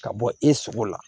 Ka bɔ i sogo la